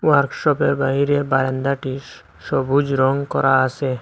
ওয়ার্কশপের বাইরে বারান্দাটি সবুজ রং করা আছে।